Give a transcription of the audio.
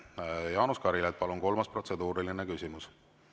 Jaanus Karilaid, palun, kolmas protseduuriline küsimus!